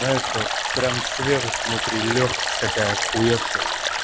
прямо свежесть внутри лёгкость такая ахуевшая